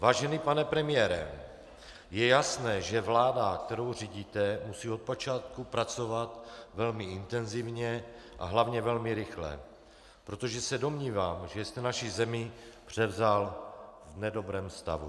Vážený pane premiére, je jasné, že vláda, kterou řídíte, musí od počátku pracovat velmi intenzivně a hlavně velmi rychle, protože se domnívám, že jste naši zemi převzal v nedobrém stavu.